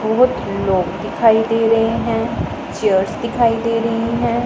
बहोत लोग दिखाई दे रहे हैं चेयर्स दिखाई दे रही हैं।